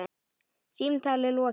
Símtali lokið.